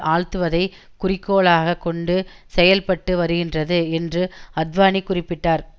ஆழ்த்துவதை குறிக்கோளாக கொண்டு செயல்பட்டு வருகின்றது என்று அத்வானி குறிப்பிட்டார்